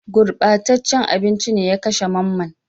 Gurɓataccen abinci ne ya kashe Mamman